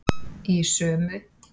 Í sömu